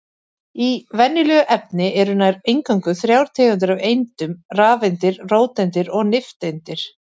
Í venjulegu efni eru nær eingöngu þrjár tegundir af eindum: rafeindir, róteindir og nifteindir.